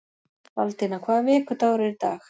Baldína, hvaða vikudagur er í dag?